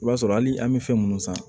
I b'a sɔrɔ hali an bɛ fɛn minnu san